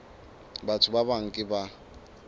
batho ba bang ke ba